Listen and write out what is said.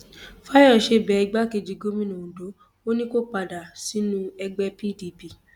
fàyọṣe bẹ igbákejì gómìnà ondo ò ní kó padà sínú ẹgbẹ pdp